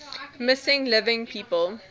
missing living people